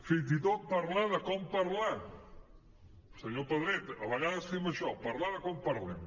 fins i tot parlar de com parlar senyor pedret a vegades fem això parlar de com parlem